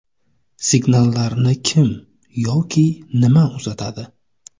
Signallarni kim yoki nima uzatadi?